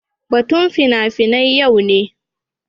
Batun fina-finai yau ne